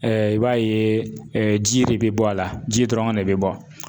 Ɛɛ i b'a ye ɛɛ ji de be bɔ a la ji dɔrɔn de be bɔ